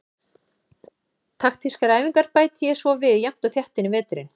Taktískar æfingar bæti ég svo við jafnt og þétt inn í veturinn.